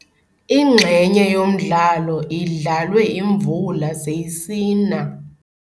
Inxenye yomdlalo idlalwe imvula seyisina.